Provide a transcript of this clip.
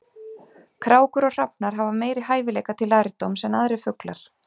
Krákur og hrafnar hafa meiri hæfileika til lærdóms en aðrir fuglar.